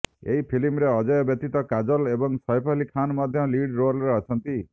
ଏହି ଫିଲ୍ମରେ ଅଜୟଙ୍କ ବ୍ୟତୀତ କାଜୋଲ ଏବଂ ସୈଫ ଅଲ୍ଲୀ ଖାନ୍ ମଧ୍ୟ ଲିଡ୍ ରୋଲରେ ଅଛନ୍ତି